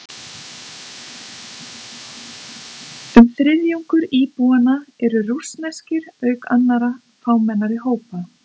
Um þriðjungur íbúanna eru rússneskir, auk annarra fámennari hópa.